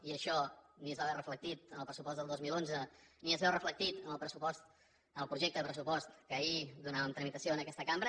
i això ni es va veure reflectit en el pressupost del dos mil onze ni es veu reflectit en el projecte de pressupost a què ahir donàvem tramitació en aquesta cambra